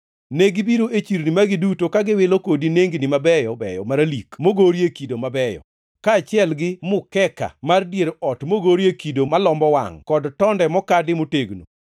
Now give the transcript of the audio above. Negibiro e chirni magi duto, ka giwilo kodi nengni mabeyo beyo maralik mogorie kido mabeyo, kaachiel gi mukeka mar dier ot mogorie kido malombo wangʼ kod tonde mokadi motegno.